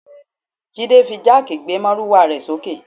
Jide fi jáàkì gbé márúwá rẹ̀ sókè